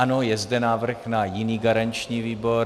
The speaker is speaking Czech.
Ano, je zde návrh na jiný garanční výbor...